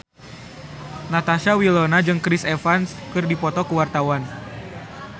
Natasha Wilona jeung Chris Evans keur dipoto ku wartawan